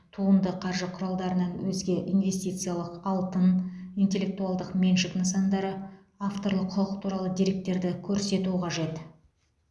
туынды қаржы құралдарынан өзге инвестициялық алтын интеллектуалдық меншік нысандары авторлық құқық туралы деректерді көрсету қажет